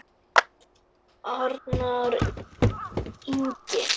Arnar Ingi.